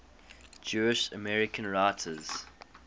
jewish american writers